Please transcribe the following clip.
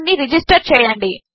దానినిరిజిస్టర్చేయండి